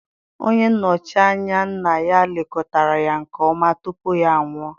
Onye nnochi anya nna ya lekọtara ya nke ọma tupu ya anwụọ.